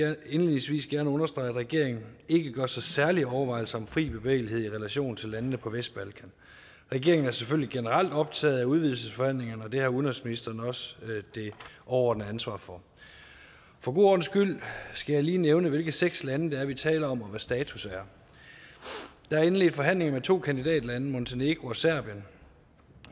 jeg indledningsvis gerne understrege at regeringen ikke gør sig særlige overvejelser om fri bevægelighed i relation til landene på vestbalkan regeringen er selvfølgelig generelt optaget af udvidelsesforhandlingerne og det har udenrigsministeren også det overordnede ansvar for for god ordens skyld skal jeg lige nævne hvilke seks lande det er vi taler om og hvad status er der er indledt forhandlinger med to kandidatlande montenegro og serbien